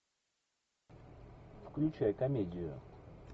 включай комедию